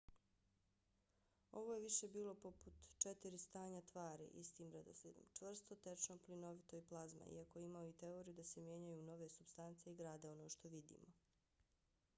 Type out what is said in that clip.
ovo je više bilo poput četiri stanja tvari istim redoslijedom: čvrsto tečno plinovito i plazma iako je imao i teoriju da se mijenjaju u nove supstance i grade ono što vidimo